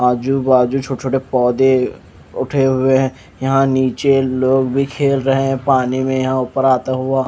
आजू बाजू छोटे छोटे पौधे उठे हुए हैं यहां नीचे लोग भी खेल रहे हैं पानी में यहां ऊपर आता हुआ--